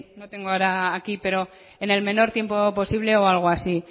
o tengo ahora aquí pero en el menor tiempo posible o algo así